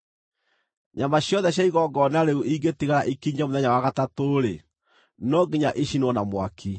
Nyama ciothe cia igongona rĩu ĩngĩtigara ĩkinyie mũthenya wa gatatũ-rĩ, no nginya ĩcinwo na mwaki.